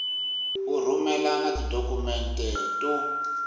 u rhumela na tidokhumente to